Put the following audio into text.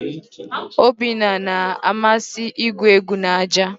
Obinna na-amasị igwu egwu na aja.